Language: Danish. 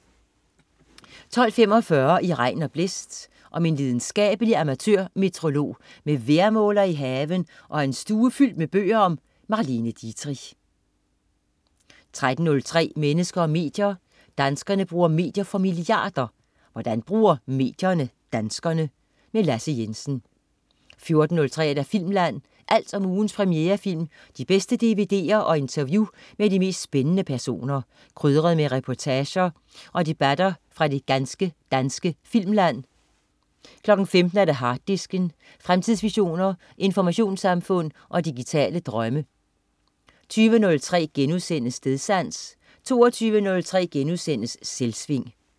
12.45 I regn og blæst. Om en lidenskabelig amatørmeteorolog med vejrmåler i haven og en stue fyldt med bøger om Marlene Dietrich 13.03 Mennesker og medier. Danskerne bruger medier for milliarder. Hvordan bruger medierne danskerne? Lasse Jensen 14.03 Filmland. Alt om ugens premierefilm, de bedste dvd'er og interview med de mest spændende personer, krydret med reportager og debatter fra det ganske danske filmland 15.00 Harddisken. Fremtidsvisioner, informationssamfund og digitale drømme 20.03 Stedsans* 22.03 Selvsving*